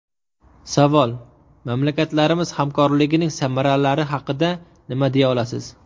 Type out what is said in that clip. Savol: Mamlakatlarimiz hamkorligining samaralari haqida nima deya olasiz?